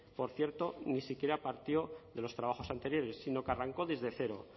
por cierto ni siquiera partió de los trabajos anteriores sino que arrancó desde cero